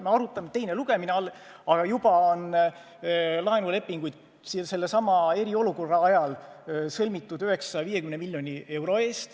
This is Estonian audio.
Täna on teine lugemine alles, aga juba on laenulepinguid eriolukorra ajal sõlmitud 950 miljoni euro ulatuses.